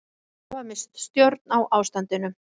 Hafa misst stjórn á ástandinu